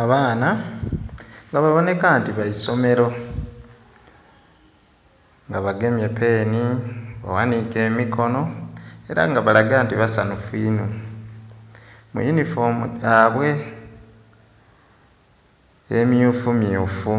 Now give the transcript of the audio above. Abaana nga baboneka nti ba isomero nga bagemye peeni baghaniike emikono era nga balaga nti basanhufu inho mu eyunifoomu dhaibwe emyufu myufu